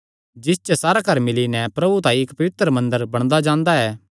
जिस च सारा घर मिल्ली नैं प्रभु तांई इक्क पवित्र मंदर बणदा जांदा ऐ